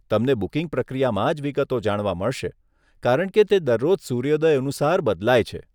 તમને બુકિંગ પ્રક્રિયામાં જ વિગતો જાણવા મળશે, કારણ કે તે દરરોજ સૂર્યોદય અનુસાર બદલાય છે.